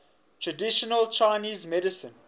traditional chinese medicine